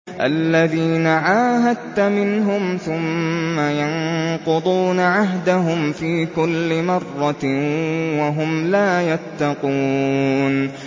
الَّذِينَ عَاهَدتَّ مِنْهُمْ ثُمَّ يَنقُضُونَ عَهْدَهُمْ فِي كُلِّ مَرَّةٍ وَهُمْ لَا يَتَّقُونَ